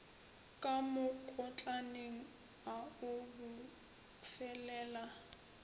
ka mokotlaneng a o bofelela